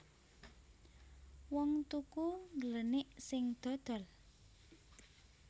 Wong tuku ngglenik sing dodol